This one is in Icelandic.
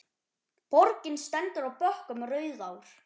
Borgin stendur á bökkum Rauðár.